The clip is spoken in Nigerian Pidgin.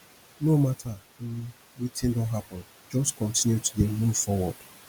no mata um wetin don hapun jus kontinu to dey move forward